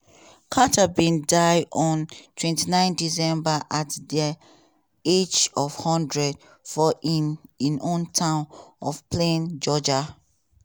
carter bin die on twenty nine december at di age of hundred for im im hometown of plains georgia.